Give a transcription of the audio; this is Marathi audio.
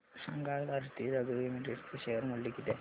सांगा आज आरती ड्रग्ज लिमिटेड चे शेअर मूल्य किती आहे